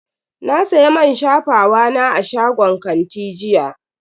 Na siya man shafawa na a shagon kanti jiya.